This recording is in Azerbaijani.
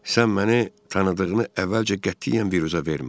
Sən məni tanıdığını əvvəlcə qətiyyən biruzə vermə.